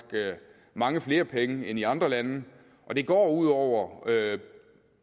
mange flere penge end i andre lande og det går ud over